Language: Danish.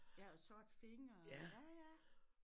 Ja og sorte fingre og ja ja